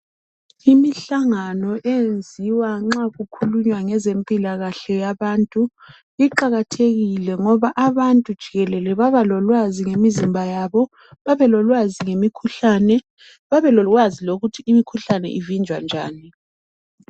Imihlangano eyenziwa nxa kukhulunywa ngezempilakahle yabantu iqakathekile ngoba abantu jikelele babalolwazi ngemizimba yabo, babelolwazi ngemikhuhlane, babelolwazi lokuthi imikhuhlane ivinjwa njani.